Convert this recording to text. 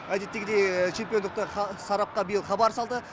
әдеттегідей чемпиондықты сарапқа биыл хабар салды